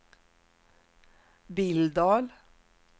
Billdal